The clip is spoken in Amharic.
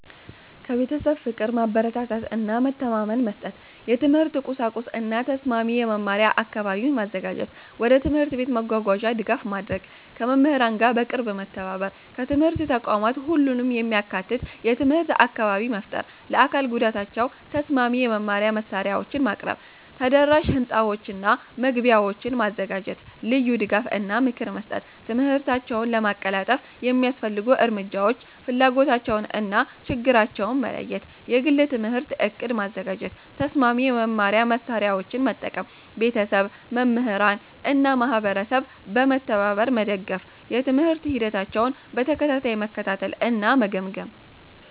1. ከቤተሰብ ፍቅር፣ ማበረታታት እና መተማመን መስጠት። የትምህርት ቁሳቁስ እና ተስማሚ የመማሪያ አካባቢ ማዘጋጀት። ወደ ትምህርት ቤት መጓጓዣ ድጋፍ ማድረግ። ከመምህራን ጋር በቅርብ መተባበር። 2. ከትምህርት ተቋማት ሁሉንም የሚያካትት (inclusive) የትምህርት አካባቢ መፍጠር። ለአካል ጉዳታቸው ተስማሚ የመማሪያ መሳሪያዎችን ማቅረብ። ተደራሽ ሕንፃዎችና መግቢያዎች ማዘጋጀት። ልዩ ድጋፍ እና ምክር መስጠት። ትምህርታቸውን ለማቀላጠፍ የሚያስፈልጉ እርምጃዎች ፍላጎታቸውን እና ፍላጎት-ችግኝታቸውን መለየት። የግል የትምህርት ዕቅድ ማዘጋጀት። ተስማሚ የመማሪያ መሳሪያዎችን መጠቀም። ቤተሰብ፣ መምህራን እና ማህበረሰብ በመተባበር መደገፍ። የትምህርት ሂደታቸውን በተከታታይ መከታተል እና መገምገም።